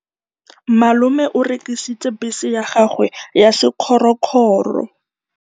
Malome o rekisitse bese ya gagwe ya sekgorokgoro.